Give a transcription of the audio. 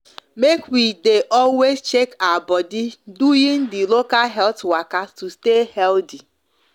make we make we de always check our body the local health waka to stay healthy